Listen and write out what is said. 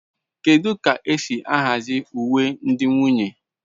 Kedu ka esi ahazi uwe ndị nwunye?